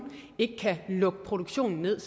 ikke kan lukke produktionen ned